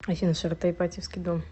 афина широта ипатьевский дом